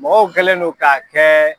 Mɔgɔw kɛlen no k'a kɛ